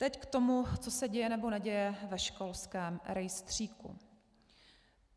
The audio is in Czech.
Teď k tomu, co se děje nebo neděje ve školském rejstříku.